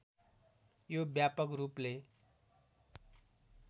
यो व्यापक रूपले